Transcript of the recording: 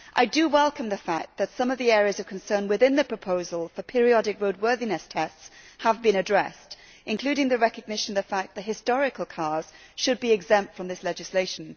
I do welcome the fact that some of the areas of concern within the proposal for periodic roadworthiness tests have been addressed, including the recognition that historical cars should be exempt from this legislation.